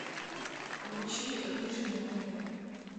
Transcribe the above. включи рыжий на тв